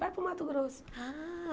Vai para o Mato Grosso.